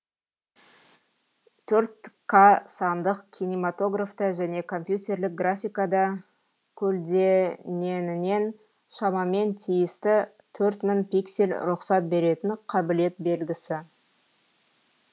төрт ка сандық кинематографта және компьютерлік графикада көлдененінен шамамен тиісті төрт мың пиксель рұқсат беретін қабілет белгісі